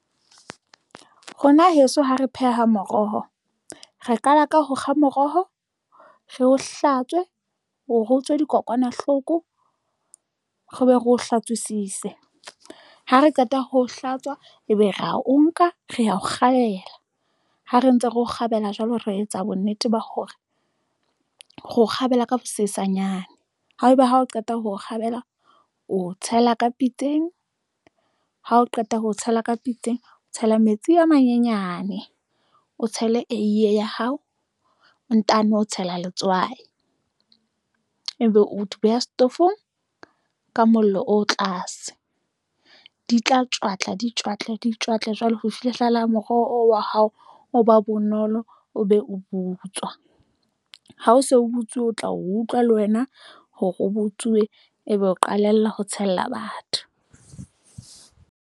Rona heso, ha re pheha moroho, re qala ka ho kga moroho, re o hlatswe hore o tswe dikokwanahloko re be re o hlatswisise ha re qeta ho hlatswa, ebe re ya o nka re ho kgabela ha re ntse re o kgabela jwalo re etsa bonnete ba hore re o kgabela ha sesanyane. Haeba ha o qeta ho o kgabela o tshela ka pitseng ha o qeta ho tshela ka pitseng, o tshela metsi a manyenyane, o tshele eiye ya hao, o ntano tshela letswai ebe o d beha setofong ka mollo o tlase di tla tjwatla, di tjwatla di tjwatle jwale ho fihlella moroho o wa hao, o ba bonolo, o be o butswa ha o so butsuwe, o tla utlwa le wena hore o butsuwe, ebe o qalella ho tshella batho.